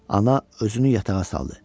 Ana özünü yatağa saldı.